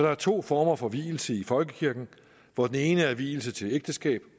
er to former for vielse i folkekirken hvor den ene er vielse til ægteskab